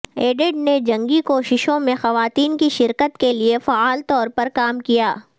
added نے جنگی کوششوں میں خواتین کی شرکت کے لئے فعال طور پر کام کیا